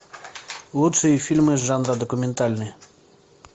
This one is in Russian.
лучшие фильмы жанра документальный